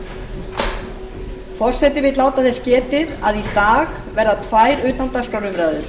forseti vill láta þess getið að í dag verða tvær utandagskrárumræður